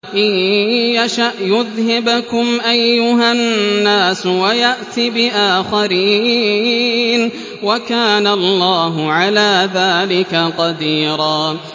إِن يَشَأْ يُذْهِبْكُمْ أَيُّهَا النَّاسُ وَيَأْتِ بِآخَرِينَ ۚ وَكَانَ اللَّهُ عَلَىٰ ذَٰلِكَ قَدِيرًا